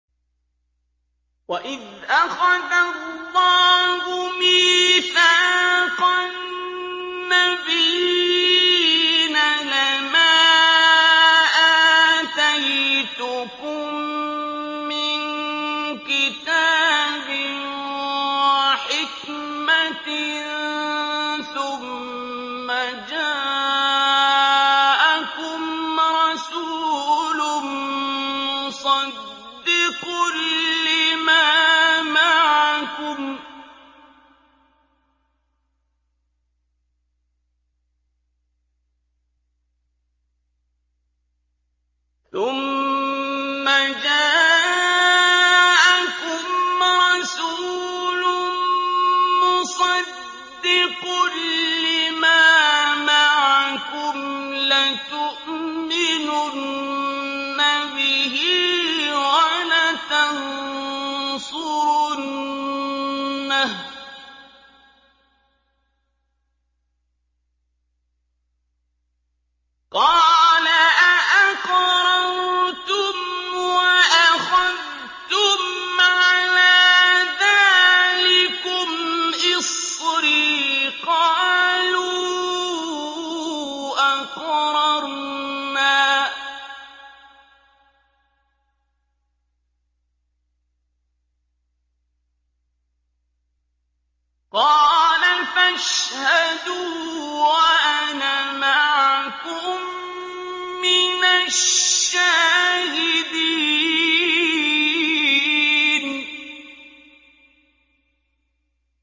وَإِذْ أَخَذَ اللَّهُ مِيثَاقَ النَّبِيِّينَ لَمَا آتَيْتُكُم مِّن كِتَابٍ وَحِكْمَةٍ ثُمَّ جَاءَكُمْ رَسُولٌ مُّصَدِّقٌ لِّمَا مَعَكُمْ لَتُؤْمِنُنَّ بِهِ وَلَتَنصُرُنَّهُ ۚ قَالَ أَأَقْرَرْتُمْ وَأَخَذْتُمْ عَلَىٰ ذَٰلِكُمْ إِصْرِي ۖ قَالُوا أَقْرَرْنَا ۚ قَالَ فَاشْهَدُوا وَأَنَا مَعَكُم مِّنَ الشَّاهِدِينَ